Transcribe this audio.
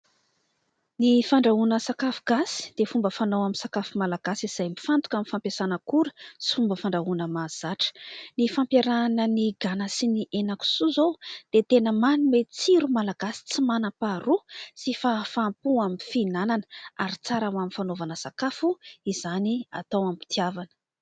Ny fandrahoana sakafo gasy dia fomba fanao amin'ny sakafo malagasy, izay mifantoka amin'ny fampiasana akora sy fomba fandrahoana mahazatra. Ny fampiarahana ny gana sy ny hena kisoa izao dia tena manome tsiro malagasy tsy manam-paharoa sy fahafam-po amin'ny fihinanana, ary tsara ho amin'ny fanaovana sakafo izany atao am-pitiavana.